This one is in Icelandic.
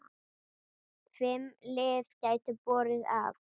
Fimm lið gætu borið af.